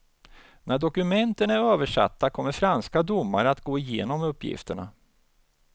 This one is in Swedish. När dokumenten är översatta kommer franska domare att gå igenom uppgifterna.